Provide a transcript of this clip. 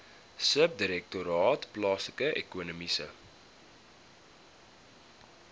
subdirektoraat plaaslike ekonomiese